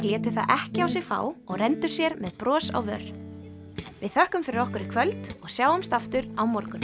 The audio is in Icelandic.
létu það ekki á sig fá og renndu sér með bros á vör við þökkum fyrir okkur í kvöld og sjáumst aftur á morgun